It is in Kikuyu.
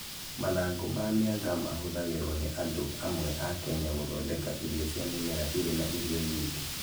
Mathangũ ma mĩanga mahũthagĩrũo nĩ andũ amwe a Kenya gũthondeka irio cia mĩmera irĩ na irio nyingĩ.